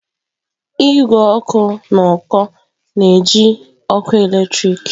Igwe ọkụ n'uko na-eji ọkụ eletrik.